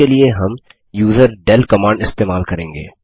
इसके लिए हम यूजरडेल कमांड इस्तेमाल करेंगे